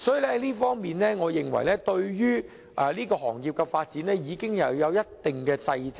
所以，我認為這方面已對這行業的發展有一定掣肘。